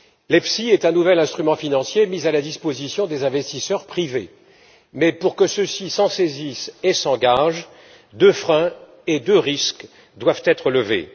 L'EFSI est un nouvel instrument financier mis à la disposition des investisseurs privés, mais, pour que ceux ci s'en saisissent et s'engagent, deux freins et deux risques doivent être levés.